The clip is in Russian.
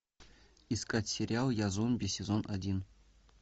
искать сериал я зомби сезон один